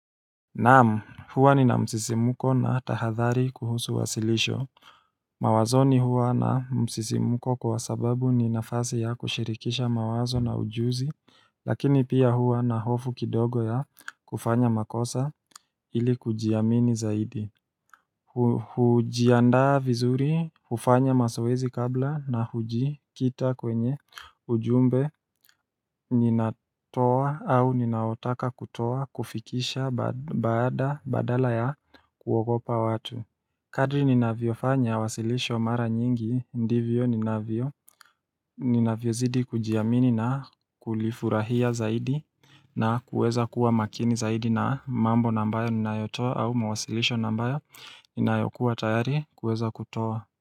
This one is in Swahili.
Naam huwa nina msisimuko na tahadhari kuhusu wasilisho Mawazoni huwa na msisimuko kwa sababu ni nafasi ya kushirikisha mawazo na ujuzi lakini pia huwa na hofu kidogo ya kufanya makosa ili kujiamini zaidi hujiandaa vizuri, hufanya mazoezi kabla na hujikita kwenye ujumbe ninatoa au ninaotaka kutoa kufikisha badala ya kuogopa watu Kadri ninavyofanya, wasilisho mara nyingi, ndivyo ninavyo ninavyo zidii kujiamini na kulifurahia zaidi na kuweza kuwa makini zaidi na mambo ambayo ninayotoa au mawasilisho ambayo ninayokuwa tayari kuweza kutoa.